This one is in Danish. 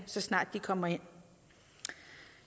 så snart de kommer ind